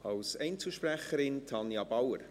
Als Einzelsprecherin, Tanja Bauer.